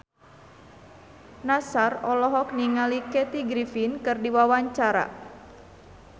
Nassar olohok ningali Kathy Griffin keur diwawancara